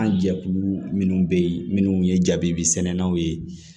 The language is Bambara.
An jɛkulu minnu bɛ yen minnu ye jabimisɛnninw ye